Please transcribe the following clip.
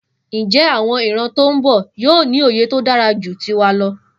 Njé àwon ìran tón bò yío ní òye tódáraju tiwa lọ?